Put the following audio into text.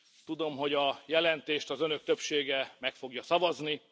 Tudom, hogy a jelentést az Önök többsége meg fogja szavazni.